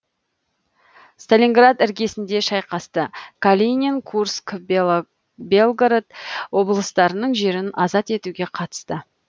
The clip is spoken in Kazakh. сталинград іргесінде шайқасты калинин курск белгород облыстарының жерін азат етуге қатысты